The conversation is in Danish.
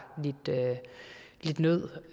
lidt nød